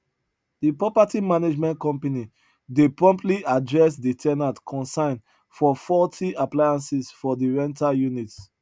de property management company dey promptly address de ten ant concern for faulty appliances for de rental unit